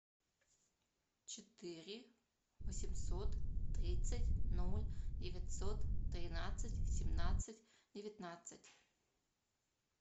четыре восемьсот тридцать ноль девятьсот тринадцать семнадцать девятнадцать